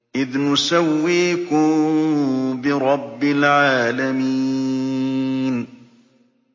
إِذْ نُسَوِّيكُم بِرَبِّ الْعَالَمِينَ